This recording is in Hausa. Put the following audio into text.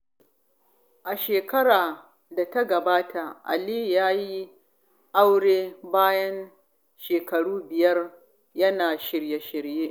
A shekarar da ta gabata, Aliyu ya yi aure bayan shekaru biyar yana shirye-shirye.